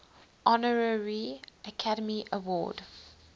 honorary academy award